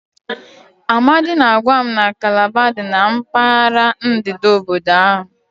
Amadi na-agwa m na Calabar dị na mpaghara ndịda obodo ahụ.